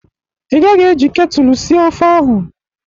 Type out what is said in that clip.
Ị gaghi e ji ketulu sie ofe ahụ.!